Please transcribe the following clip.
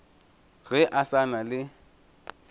ge a sa na le